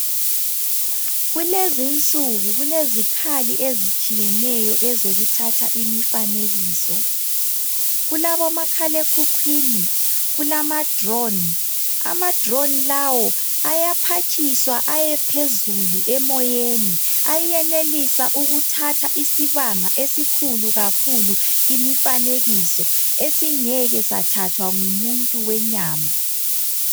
Kulezinsuku kulezikhali ezitshiyeneyo ezokuthatha imifanekiso . Kulabo makhala ekhukhwini .Kulama drone. Ama drone lawo ayaphatshiswa ayephezulu emoyeni .Ayenelisa ukuthatha isibanga esikhulu kakhulu imifanekiso esingeke sathathwa ngumuntu wenyama